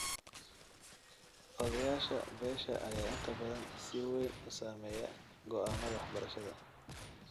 Odayaasha beesha ayaa inta badan si weyn u saameeya go'aamada waxbarashada.